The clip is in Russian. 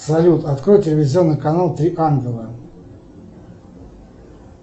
салют открой телевизионный канал три ангела